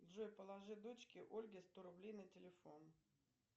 джой положи дочке ольге сто рублей на телефон